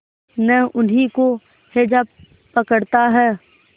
न उन्हीं को हैजा पकड़ता है